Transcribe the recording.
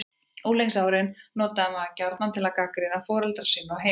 Unglingsárin notar maður gjarnan til að gagnrýna foreldra sína og heimili.